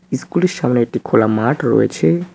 School -এর সামনে একটি খোলা মাঠ রয়েছে।